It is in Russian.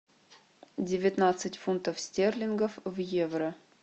девятнадцать фунтов стерлингов в евро